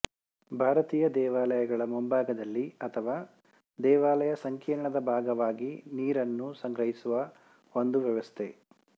ಭಾರತೀಯ ದೇವಾಲಯಗಳ ಮುಂಭಾಗದಲ್ಲಿ ಅಥವಾ ದೇವಾಲಯ ಸಂಕೀರ್ಣದ ಭಾಗವಾಗಿ ನೀರನ್ನು ಸಂಗ್ರಹಿಸುವ ಒಂದು ವ್ಯವಸ್ಥೆ